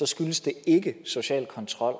skyldes det ikke social kontrol